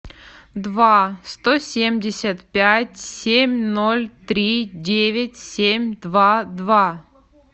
два сто семьдесят пять семь ноль три девять семь два два